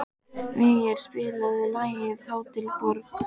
Végeir, spilaðu lagið „Hótel Borg“.